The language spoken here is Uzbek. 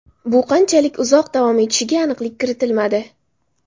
Bu qanchalik uzoq davom etishiga aniqlik kiritilmadi.